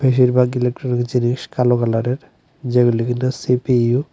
বেশিরভাগ ইলেকট্রনিক জিনিস কালো কালারের যেগুলি কিনা সি_পি_ইউ ।